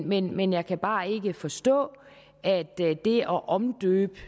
men men jeg kan bare ikke forstå at det at omdøbe